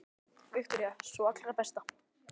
Viktoría: Sú allra besta?